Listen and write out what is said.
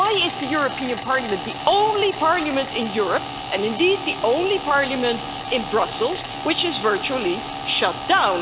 Why is the European Parliament the only parliament in Europe and indeed the only parliament in Brussels which is virtually shut down?